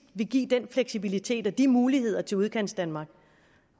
vil give den fleksibilitet og de muligheder til udkantsdanmark